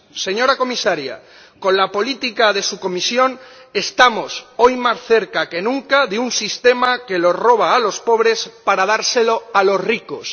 Señora Comisaria, con la política de su Comisión estamos hoy más cerca que nunca de un sistema que roba a los pobres para dárselo a los ricos.